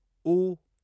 ऊ